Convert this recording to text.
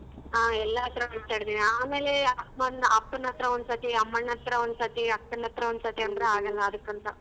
ಹ ಎಲ್ಲಾರತ್ರ ಮಾತಡತಿನಿ ಆಮೇಲೆ ಅಮ್ಮಾನ್ ಅಪ್ಪನತ್ರ ಒಂದಸತಿ ಅಮ್ಮಾನತ್ರ ಒಂದಸತಿ ಅಕ್ಕನತ್ರ ಒಂದಸತಿ ಅಂದ್ರೆ ಆಗೋಲ್ಲ ಅದಕ್ಕಂತಾ.